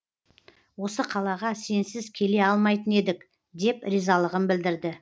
осы қалаға сенсіз келе алмайтын едік деп ризалығын білдірді